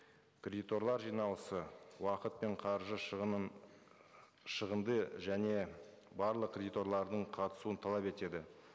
кредиторлар жиналысы уақыт пен қаржы шығынын шығынды және барлық кредиторлардың қатысуын талап етеді